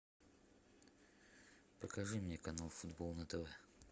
покажи мне канал футбол на тв